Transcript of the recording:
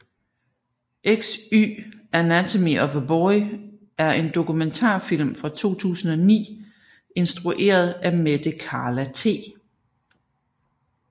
XY anatomy of a boy er en dokumentarfilm fra 2009 instrueret af Mette Carla T